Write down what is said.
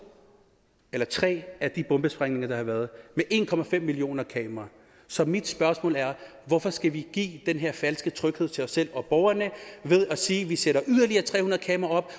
eller tre af de bombesprængninger der har været med en millioner kameraer så mit spørgsmål er hvorfor skal vi give den her falske tryghed til os selv og borgerne ved at sige at hvis vi sætter yderligere tre hundrede kameraer